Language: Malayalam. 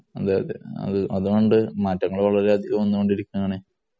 അതേഅതേ അതുകൊണ്ട് മാറ്റങ്ങള്‍ വളരെയധികം വന്നുകൊണ്ടിരിക്കുയാണെ.